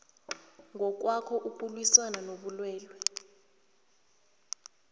ngokwakho ukulwisana nobulwele